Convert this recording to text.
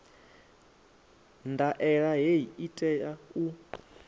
ndaela hei i tea u